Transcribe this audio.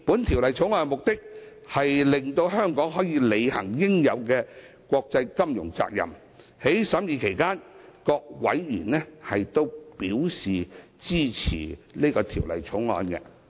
《條例草案》的目的，是令香港可以履行應有的國際金融責任，各委員在審議期間亦對此表示支持。